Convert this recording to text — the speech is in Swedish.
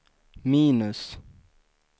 minus